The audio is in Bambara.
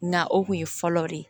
Nga o kun ye fɔlɔ de ye